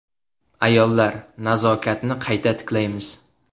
Ayollar, nazokatni qayta tiklaymiz!